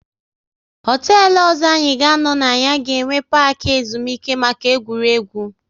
Hotelu ọzọ anyị ga anọ na ya, ga enwe parki ezumike maka egwuregwu